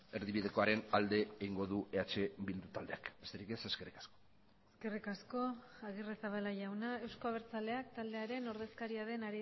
erdibidekoaren alde egingo du eh bildu taldeak besterik ez eskerrik asko eskerrik asko agirrezabala jauna euzko abertzaleak taldearen ordezkaria den